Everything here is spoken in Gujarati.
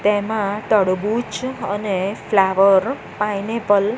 તેમાં તળબૂચ અને ફ્લાવર પાઈનેપલ --